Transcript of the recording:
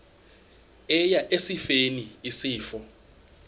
eya esifeni isifo